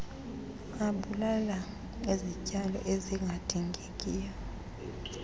abulala izityalo ezingadingekiyo